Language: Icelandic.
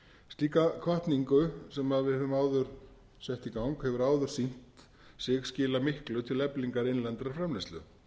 slíka hvatningu sem við höfum áður sett í gang hefur áður sýnt sig skila miklu til eflingar innlendrar framleiðslu